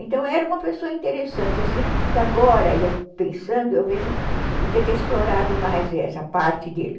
Então, era uma pessoa interessante assim, que agora, pensando, eu vejo que podia ter explorado mais essa parte dele.